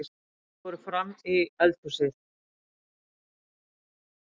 Þau fóru frammí eldhúsið.